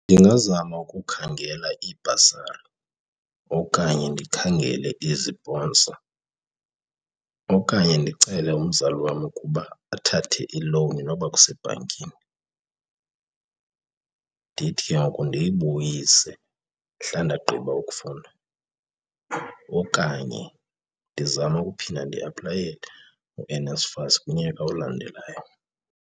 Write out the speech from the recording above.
Ndingazama ukukhangela ibhasari okanye ndikhangele iziponsa okanye ndicele umzali wam ukuba athathe ilowuni noba kusebhankini. Ndithi ke ngoku ndiyibuyise mhla ndagqiba ukufunda okanye ndizame ukuphinda ndiaplayele uNSFAS kunyaka olandelayo.